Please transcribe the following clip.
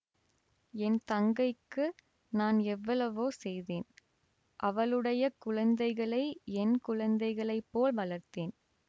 என் தங்கைக்கு நான் எவ்வளவோ செய்தேன் அவளுடைய குழந்தைகளை என் குழந்தைகளை போல் வளர்த்தேன்